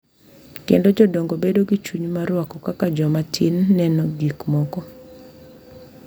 Kendo jodongo bedo gi chuny mar rwako kaka joma tin neno gik moko,